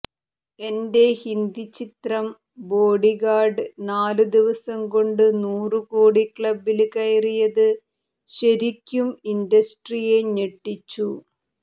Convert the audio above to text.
എന്റെ ഹിന്ദി ചിത്രം ബോഡിഗാര്ഡ് നാലു ദിവസംകൊണ്ട് നൂറുകോടി ക്ലബ്ബില് കയറിയത് ശരിക്കും ഇന്റസ്ട്രിയെ ഞെട്ടിച്ചു